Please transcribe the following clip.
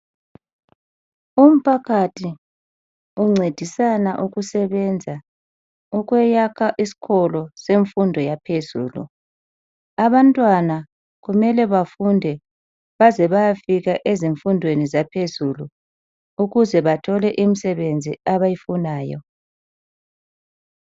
Umphakathi uncedisana ukusebenza, ukuyakha isikolo semfundo yaphezulu. Abantwana kumele bafunde baze bayofika ezifundweni zaphezulu, ukuze bathole imisebenzi abayifunayo.